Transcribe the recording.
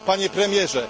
Panie Premierze!